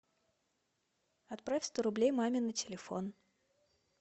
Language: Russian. отправь сто рублей маме на телефон